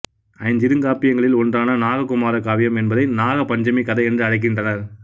ஐஞ்சிறுகாப்பியங்களில் ஒன்றான நாககுமார காவியம் என்பதை நாகபஞ்சமி கதை என்று அழைக்கின்றனர்